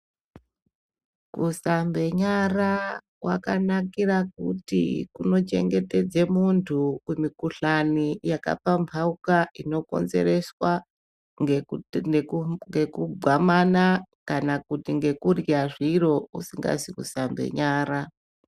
Kushambe nyara kwakanakira kuti kunochengetedze muntu kumikhuhlani yakapamphauka inokonzereswa ngeku neku ngekugwamana, kana kuti ngekurya zviro ,usingazi kusambe nyara.